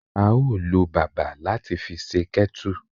A o lo bàbà lati fi se kettle